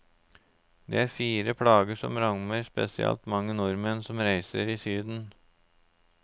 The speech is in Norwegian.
Det er fire plager som rammer spesielt mange nordmenn på reise i syden.